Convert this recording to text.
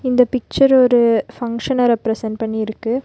இந்தப் பிக்ச்சர் ஒரு ஃபங்ஷன ரெப்ரசன்ட் பண்ணி இருக்கு.